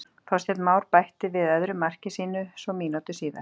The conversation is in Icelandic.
Þorsteinn Már bætti við öðru marki sínu svo mínútu síðar.